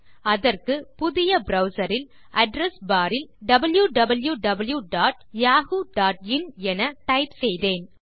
அதற்கு புதிய ப்ரவ்சர் இல் அட்ரெஸ் பார் இல் wwwyahooin என டைப் செய்தேன்